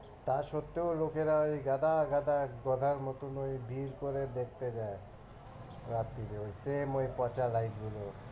তা সত্ত্বেও লোকেরা ওই গাদা গাদা গাদার মতো ওই ভীড় করে দেখতে যায় রাত্রিরে same ওই পচা light গুলো।